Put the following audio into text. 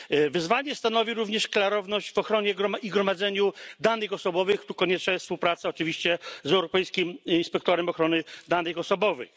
Wyzwanie stanowi również klarowność w ochronie i gromadzeniu danych osobowych tu konieczna jest oczywiście współpraca z Europejskim Inspektorem Ochrony Danych Osobowych.